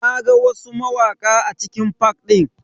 Na ga wasu mawaka a cikin fak din.